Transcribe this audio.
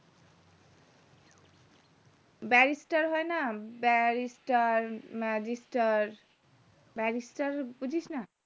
barrister হয়না barrister marrister র barrister বুঝিস না